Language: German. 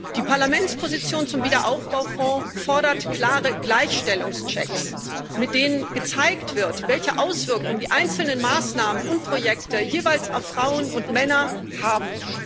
Die Parlamentsposition zum Aufbaufonds fordert klare Gleichstellungschecks, mit denen gezeigt wird, welche Auswirkung die einzelnen Maßnahmen und Projekte jeweils auf Frauen und Männer haben.